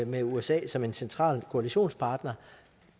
med usa som en central koalitionspartner